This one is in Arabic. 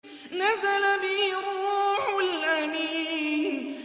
نَزَلَ بِهِ الرُّوحُ الْأَمِينُ